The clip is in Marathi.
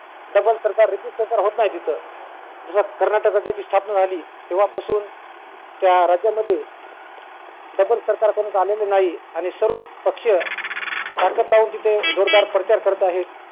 double सरकार repeat प्रकार होत नाही तिथं जेव्हा कर्नाटकाची स्थापना झाली तेव्हा पासून त्या राज्यामध्ये double सरकार परत आलेलं नाही आणि सर्व पक्ष ताकद लावून तिथं जोरदार प्रचार करत आहेत